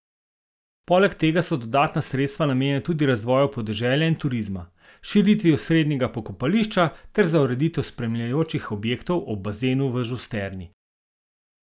Poleg tega so dodatna sredstva namenjena tudi razvoju podeželja in turizma, širitvi osrednjega pokopališča ter za ureditev spremljajočih objektov ob bazenu v Žusterni.